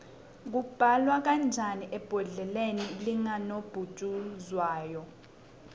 kubalwa kanjani ebholeni likanobhujuzwayo